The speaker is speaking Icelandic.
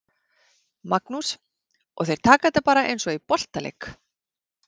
Magnús: Og þeir taka þetta bara eins og í boltaleik?